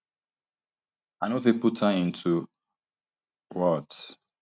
i no fit put am into words